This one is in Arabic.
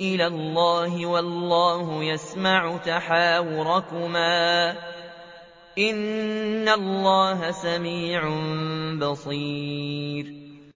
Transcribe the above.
إِلَى اللَّهِ وَاللَّهُ يَسْمَعُ تَحَاوُرَكُمَا ۚ إِنَّ اللَّهَ سَمِيعٌ بَصِيرٌ